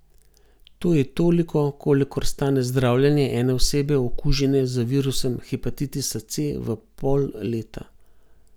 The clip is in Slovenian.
To je toliko, kolikor stane zdravljenje ene osebe okužene z virusom hepatitisa C v pol leta.